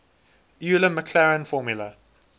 euler maclaurin formula